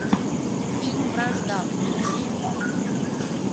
фильм вражда включи